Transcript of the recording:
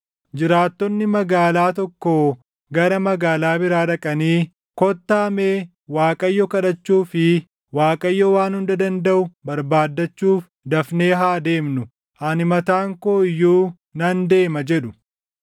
jiraattonni magaalaa tokkoo gara magaalaa biraa dhaqanii, ‘Kottaa mee Waaqayyo kadhachuu fi Waaqayyo Waan Hunda Dandaʼu barbaadachuuf dafnee haa deemnu. Ani mataan koo iyyuu nan deema’ jedhu.